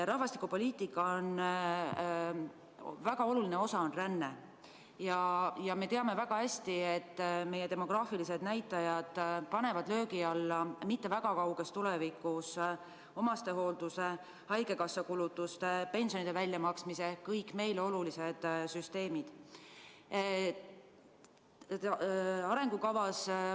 Rahvastikupoliitika väga oluline osa on ränne ja me teame väga hästi, et meie demograafilised näitajad panevad üldse mitte väga kauges tulevikus löögi alla omastehoolduse, haigekassa kulutuste ja pensionide väljamaksmise, kõik meile olulised süsteemid.